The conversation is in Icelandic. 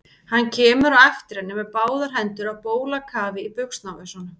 Hann kemur á eftir henni með báðar hendur á bólakafi í buxnavösunum.